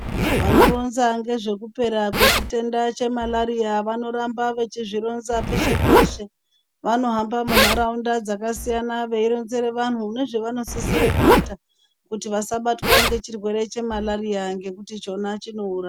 Vanoronza nezvekupera kwechitenda chemalaria vanoramba vachizvironza peshe peshe vanohamba munharaunda dzakasiyana veironzera vantu nezvavanosisa kuita kuti vasabatwa ngechirwere chemalaria ngekuti chona chouraya.